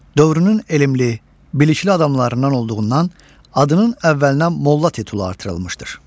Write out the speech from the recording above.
Dövrünün elmli, bilikli adamlarından olduğundan adının əvvəlinə Molla titulu artırılmışdır.